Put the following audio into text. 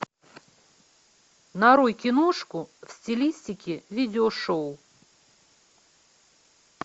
нарой киношку в стилистике видеошоу